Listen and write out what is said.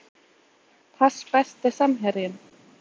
pass Besti samherjinn?